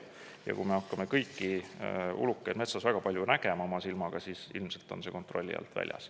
Ja kui me hakkame kõiki ulukeid metsas väga palju nägema oma silmaga, siis ilmselt on see kontrolli alt väljas.